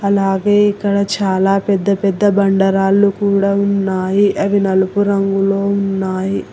అలాగే ఇక్కడ చాలా పెద్ద పెద్ద బండరాళ్లు కూడా ఉన్నాయి అవి నలుపు రంగులో ఉన్నాయి.